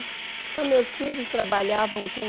Então, meus filhos trabalhavam com